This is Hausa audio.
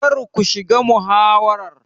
Kar ku shiga muhawarar.